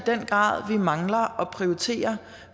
den grad vi mangler at prioritere